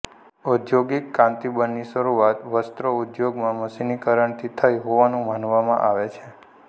ઔદ્યોગિક ક્રાંતિબની શરુઆત વસ્ત્ર ઉદ્યોગમાં મશીનીકરણથી થઈ હોવાનું માનવામાં આવે છે